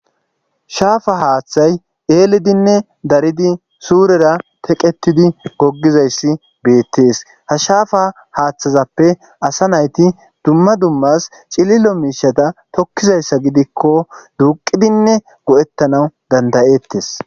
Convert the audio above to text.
Shaafa haaththay eelidinne daridi suurera teqetidi goggizayssi beettees ha shaafa haaththazappe asa nayti dumma dummas cililo miishata tokkizayssa gidikko duuqidinne go7ettanaw dandayettes.